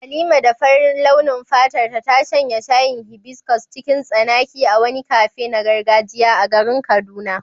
Halima da farin launin fatarta ta shanye shayin hibiscus cikin tsanaki a wani cafe na gargajiya a garin Kaduna.